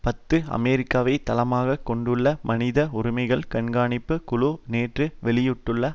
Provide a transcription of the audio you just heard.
பத்து அமெரிக்காவை தளமாக கொண்டுள்ள மனித உரிமைகள் கண்காணிப்பு குழு நேற்று வெளியிட்டுள்ள